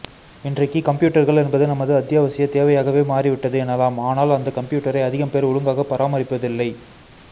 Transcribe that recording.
இன்றைக்கு கம்பியூட்டர்கள் என்பது நமது அத்தியாவசிய தேவையாகவே மாறிவிட்டது எனலாம் ஆனால் அந்த கம்பியூட்டரை அதிகம் பேர் ஒழுங்காக பராமரிப்பதில்லை